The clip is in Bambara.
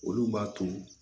Olu b'a to